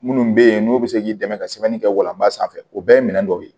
Minnu bɛ yen n'u bɛ se k'i dɛmɛ ka sɛbɛnni kɛ walanba sanfɛ o bɛɛ ye minɛ dɔw ye